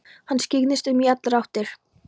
Hann skyggndist um í allar áttir.